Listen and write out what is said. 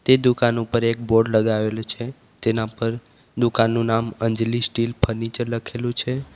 તે દુકાનો પર એક બોર્ડ લગાવેલું છે તેના પર દુકાન નું નામ અંજલી સ્ટીલ ફર્નિચર લખેલું છે.